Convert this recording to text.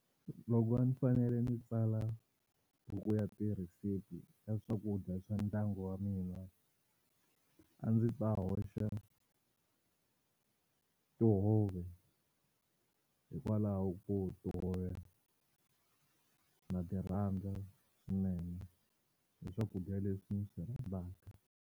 Loko a ndzi fanele ndzi tsala buku ya tirhesipi ya swakudya swa ndyangu wa mina a ndzi ta hoxa tihove hikwalaho ko tihove na ti rhandza swinene i swakudya leswi ndzi swi rhandzaka.